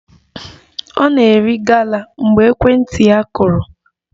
Ọ nọ na-eri gala mgbe ekwentị ya kụrụ